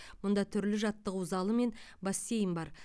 мұнда түрлі жаттығу залы мен бассейн бар